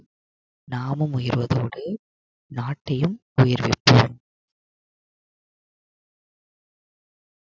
நாமும் உயர்வதோடு நாட்டையும் உயர வைக்கவும்.